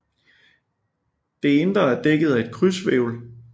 Det indre er dækket af et krydshvælv